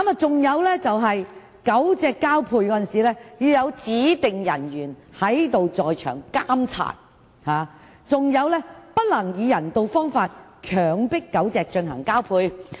此外，狗隻交配時須由指定人員在場監察，並且不能以不人道方法強迫狗隻交配。